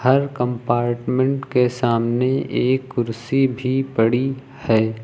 हर compartment के सामने एक कुर्सी भी पड़ी है।